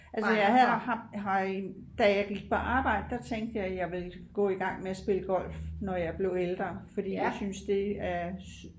altså jeg har da jeg gik på arbejde der tænkte jeg at jeg ville gå i gang med at spille golf når jeg blev ældre fordi jeg synes det er